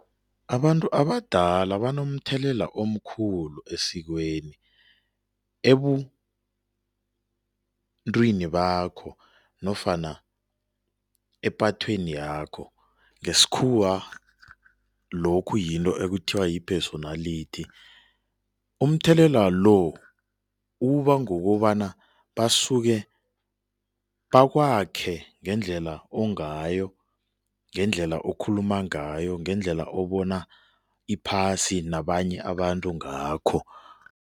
Abantu abadala banomthelela omkhulu esikweni, ebuntwini bakho nofana epathweni yakho, ngesikhuwa lokhu yinto ekuthiwa yi-personality. Umthelela lo uba ngokobana basuke bakwakhe ngendlela ongayo, ngendlela okhuluma ngayo, ngendlela obona iphasi nabanye abantu ngakho.